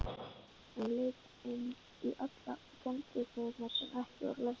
Hún leit inn í allar kennslustofurnar sem ekki voru læstar.